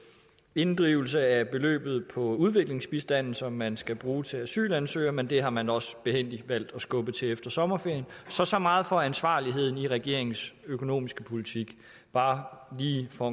inddrivelse af beløbet på udviklingsbistanden som man skal bruge til asylansøgere men det har man også behændigt valgt at skubbe til efter sommerferien så så meget for ansvarligheden i regeringens økonomiske politik bare lige for